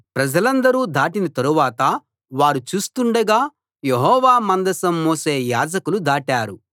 ప్రజలందరూ దాటిన తరువాత వారు చూస్తుండగా యెహోవా మందసం మోసే యాజకులు దాటారు